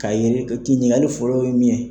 K'a yɛrɛ ki ɲininkali fɔlɔ ye min ye